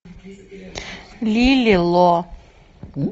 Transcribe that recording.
лили ло